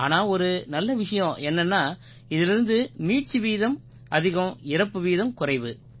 ஆனா ஒரு நல்ல விஷயம் என்னென்னா இதிலிருந்து மீட்சி வீதம் அதிகம் இறப்பு வீதம் குறைவு